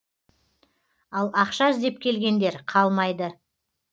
ал ақша іздеп келгендер қалмайды